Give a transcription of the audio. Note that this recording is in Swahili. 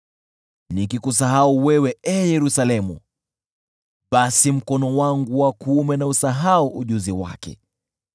Nikikusahau wewe, ee Yerusalemu, basi mkono wangu wa kuume na usahau ujuzi wake.